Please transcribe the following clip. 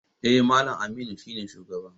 Eh, Mallam Aminu shine shugaba.